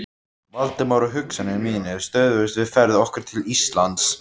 Valdimar, og hugsanir mínar stöðvuðust við ferð okkar til Íslands.